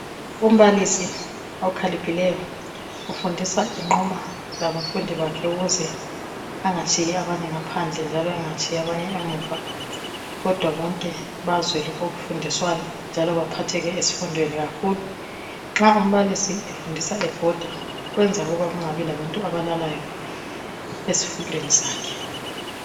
umbalisi okhaliphileyo ufundisa enquma labafundi bakhe ukuze angatshiyi abanye ngaphandle njalo engatshiyi abanye emuva kodwa bonke bazwe lokhu okufundiswayo njalo baphatheke ezifundweni kakhulu nxa umbalisi efundisa ebhoda kwenza kungabi labantu abalalayo esifundweni sakhe